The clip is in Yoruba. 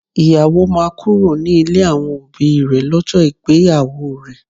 Ìyàwó máa kúrò ní ilé àwọn òbí rè lọ́jọ́ ìgbéyàwó rẹ